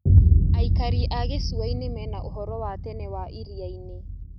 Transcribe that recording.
Aikari a gĩcua-inĩ mena ũhoro wa tene wa iria-inĩ.